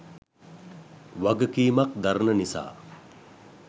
වගකීමක් දරන නිසා.